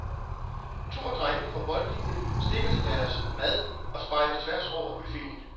To af drengene fra boldlinien stikker til deres mad og spejder tværs over buffeten.